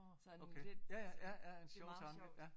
Sådan lidt sådan det meget sjovt